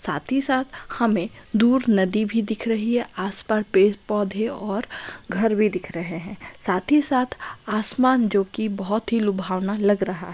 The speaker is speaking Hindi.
साथ ही साथ हमे दूर नदी भी दिख रही हैआसपार पेड़ पौधे और घर भी दिख रहा है साथ ही साथ आसमान जोकि बोहोत लुभावना लग रहा--